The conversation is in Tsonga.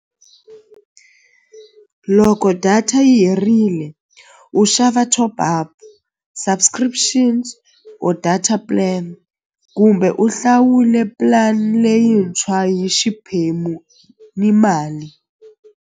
Loko data yi herile u xava top-up subscriptions or data plan kumbe u hlawule plan leyintshwa hi xiphemu ni mali.